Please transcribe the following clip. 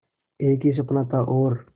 एक ही सपना था और